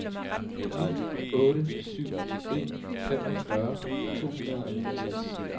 ni otte syv en femogfyrre to hundrede og niogtres